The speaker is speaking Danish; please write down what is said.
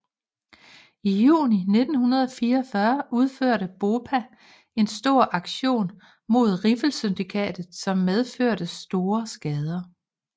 I juni 1944 udførte BOPA en stor aktion mod Riffelsyndikatet som medførte store skader